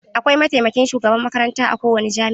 Akwai mataimakin shugaban makaranta a kowane jami'a.